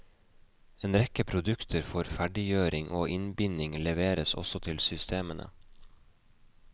En rekke produkter for ferdiggjøring og innbinding leveres også til systemene.